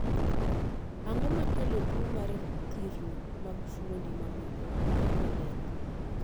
ang'o makelo tuo mar thirno mag fuondi mamoko kaka lep ?